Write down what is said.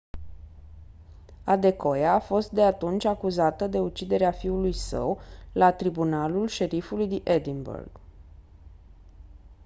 adekoya a fost de atunci acuzată de uciderea fiului său la tribunalul șerifului din edinburgh